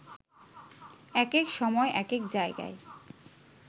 একেক সময় একেক জায়গায়